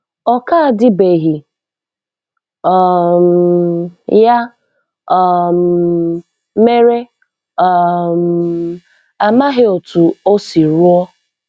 Ọ ka dibeghị, um ya um mere um amaghị otú o si rụọ.